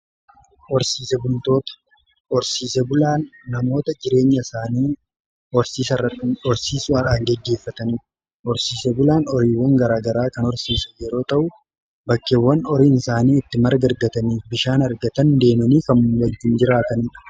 Horsiise bultoota horsiisee bulaan namoota jireenya isaanii horsiisuudhaan geggeeffataniidha. horsiise bulaan horiiwwan garaagaraa kan horsiisan yeroo ta'u bakkeewwan horiin isaanii itti marga argataniif bishaan argatan deemanii kan wajjiin jiraataniidha.